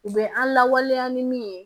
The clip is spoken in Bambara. U bɛ an lawaleya ni min ye